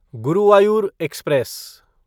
Guruvayur express